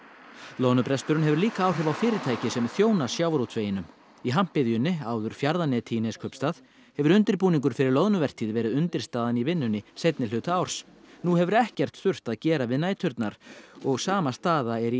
loðnubresturinn hefur líka áhrif á fyrirtæki sem þjóna sjávarútveginum í Hampiðjunni áður Fjarðaneti í Neskaupstað hefur undirbúningur fyrir loðnuvertíð verið undirstaðan í vinnunni seinni hluta árs nú hefur ekkert þurft að gera við næturnar og sama staða er í